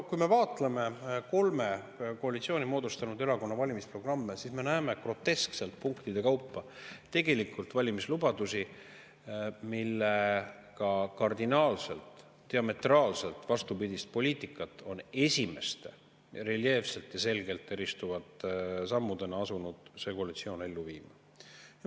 Kui me vaatleme kolme koalitsiooni moodustanud erakonna valimisprogramme, siis me näeme groteskselt punktide kaupa tegelikult valimislubadusi, millega kardinaalselt ja diametraalselt vastupidist poliitikat on esimeste reljeefselt ja selgelt eristuvate sammudena see koalitsioon asunud ellu viima.